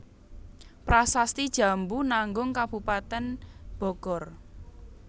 Prasasti Jambu Nanggung Kabupaten Bogor